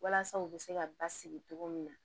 Walasa u bɛ se ka basigi cogo min na